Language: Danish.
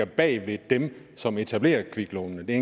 bag ved dem som etablerer kviklånene det